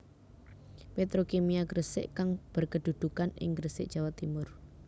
Petrokimia Gresik kang berkedudukan ing Gresik Jawa Timur